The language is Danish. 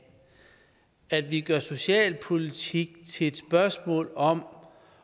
at vi gør socialpolitik til et spørgsmål om